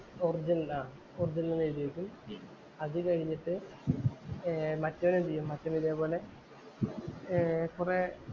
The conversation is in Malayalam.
ഓർജിനൽ ആഹ് ഓർജിനൽ എന്നെഴുതി വയ്ക്കും. അത് കഴിഞ്ഞിട്ട് ഏർ മറ്റേവന്‍ എന്തു ചെയ്യും? മറ്റേവന്‍ ഇതുപോലെ ഏർ കൊറേ